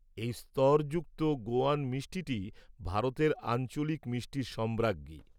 এই স্তরযুক্ত গোয়ান মিষ্টিটি ভারতের আঞ্চলিক মিষ্টির সম্রাজ্ঞী।